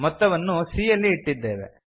ಮೊತ್ತವನ್ನು c ಯಲ್ಲಿ ಇಟ್ಟಿದ್ದೇವೆ